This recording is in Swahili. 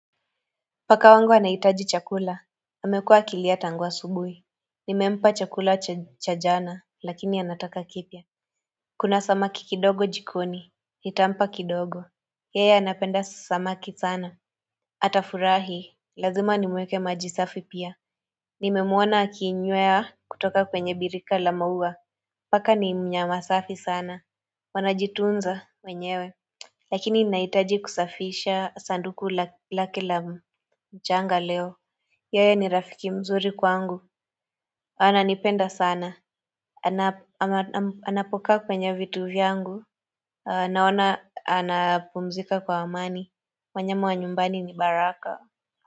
Paka wangu anahitaji chakula amekua akilia tangu asubuhi Nimempa chakula cha jana lakini anataka kipya Kuna samaki kidogo jikoni nitampa kidogo Yeye anapenda samaki sana Atafurahi lazima nimuwekee majisafi pia Nimemwona akiinywea kutoka kwenye birika lamaua Paka ni mnyamasafi sana Wanajitunza wenyewe Lakini nahitaji kusafisha sanduku lake lamchanga leo Yeye ni rafiki mzuri kwangu ananipenda sana Anapokaa kwenye vitu vyangu Naona anapumzika kwa amani Manyama wa nyumbani ni baraka.